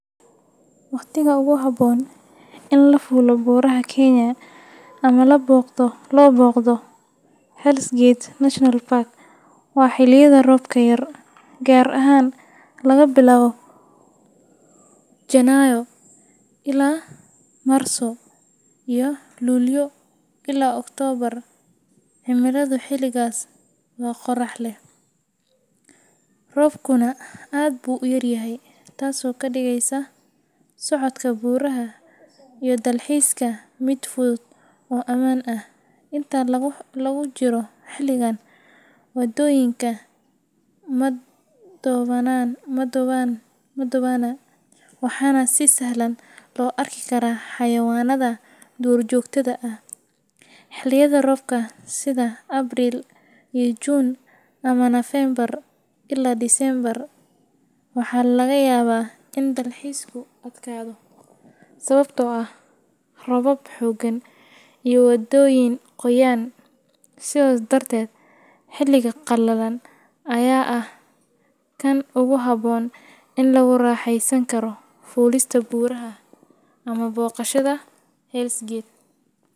Waqtiga ugu habboon ee la fuulo buuraha Kenya ama loo booqdo Hell’s Gate National Park waa xilliyada roobka yar, gaar ahaan laga bilaabo Janaayo ilaa Maarso iyo Luulyo ilaa Oktoobar. Cimiladu xiligaas waa qorrax leh, roobkuna aad buu u yar yahay, taasoo ka dhigaysa socodka buuraha iyo dalxiiska mid fudud oo ammaan ah. Inta lagu jiro xilligan, waddooyinka ma dhoobana, waxaana si sahlan loo arki karaa xayawaannada duurjoogta ah. Xilliyada roobka sida Abriil ilaa Juun ama Nofeembar ilaa Diseembar, waxaa laga yaabaa in dalxiisku adkaado sababtoo ah roobab xooggan iyo waddooyin qoyan. Sidaas darteed, xilliga qallalan ayaa ah kan ugu habboon ee lagu raaxaysan karo fuulista buuraha ama booqashada Hell’s Gate.